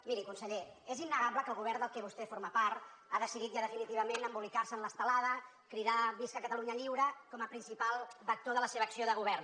miri conseller és innegable que el govern de què vostè forma part ha decidit ja definitivament embolicar se en l’estelada cridar visca catalunya lliure com a principal vector de la seva acció de govern